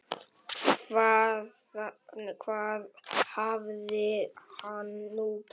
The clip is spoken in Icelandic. Hvað hafði hann nú gert?